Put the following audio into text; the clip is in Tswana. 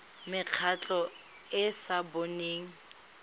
mekgatlho e e sa boneng